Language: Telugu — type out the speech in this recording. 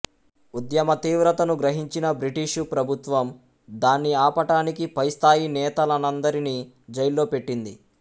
ఉద్యమ తీవ్రతను గ్రహించిన బ్రిటీషు ప్రభుత్వం దాన్ని ఆపటానికి పై స్థాయి నేతలనందరినీ జైళ్లో పెట్టింది